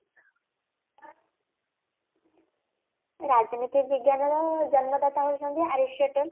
ରାଜନୈତିକ ବିଜ୍ଞାନର ଜନ୍ମଦାତା ହାଉଛନ୍ତି aristo tan